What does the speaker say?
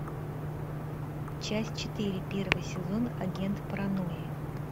часть четыре первый сезон агент паранойи